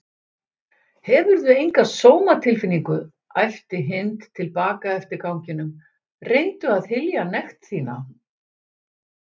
Hefurðu enga sómatilfinningu? æpti Hind til baka eftir ganginum, reyndu að hylja nekt þína